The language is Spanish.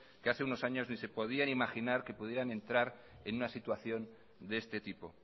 que hace unos años ni se podían imaginar que pudieran entrar en una situación de este tipo